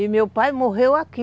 E meu pai morreu aqui.